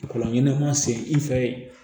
Kɔlɔnɲɛnama sen i fɛ